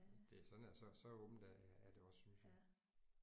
Så det sådan er så så åbent er er det også synes jeg